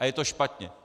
A je to špatně.